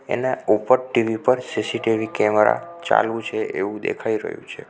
એના ઉપર ટી_વી પર સી_સી_ટી_વી કેમેરા ચાલુ છે એવું દેખાઈ રહ્યું છે.